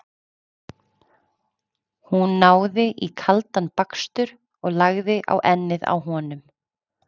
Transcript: Hún náði í kaldan bakstur og lagði á ennið á honum.